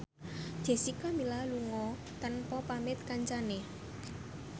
Jessica Milla lunga tanpa pamit kancane